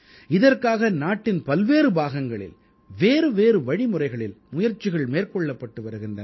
இதற்காக நாட்டின் பல்வேறு பாகங்களில் வேறுவேறு வழிமுறைகளில் முயற்சிகள் மேற்கொள்ளப்பட்டு வருகின்றன